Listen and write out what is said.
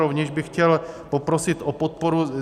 Rovněž bych chtěl poprosit o podporu.